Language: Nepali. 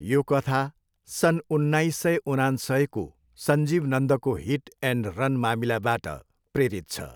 यो कथा सन् उन्नाइस सय उनान्सयको सञ्जीव नन्दको हिट एन्ड रन मामिलाबाट प्रेरित छ।